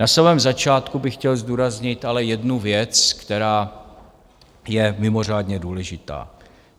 Na samém začátku bych chtěl zdůraznit ale jednu věc, která je mimořádně důležitá.